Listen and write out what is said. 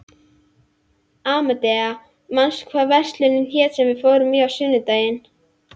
Amadea, manstu hvað verslunin hét sem við fórum í á sunnudaginn?